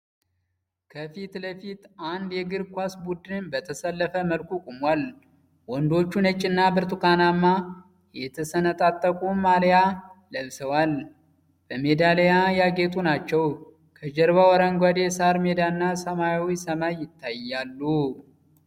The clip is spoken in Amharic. ከፊት ለፊት አንድ የእግር ኳስ ቡድን በተሰለፈ መልኩ ቆሟል። ወንዶቹ ነጭና ብርቱካናማ የተሰነጣጠቁ ማልያ ለብሰዋል፣ በሜዳሊያ ያጌጡ ናቸው። ከጀርባው አረንጓዴ የሳር ሜዳና ሰማያዊ ሰማይ ይታያሉ።